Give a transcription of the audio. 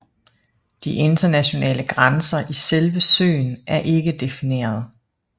De internationale grænser i selve søen er ikke defineret